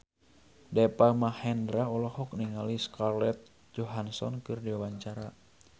Deva Mahendra olohok ningali Scarlett Johansson keur diwawancara